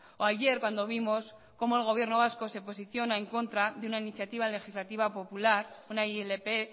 o ayer cuando vimos cómo el gobierno vasco se posiciona en contra de una iniciativa legislativa popular una ilp